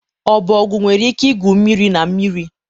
ọbọgwụ nwere ike igwu mmiri na mmiri.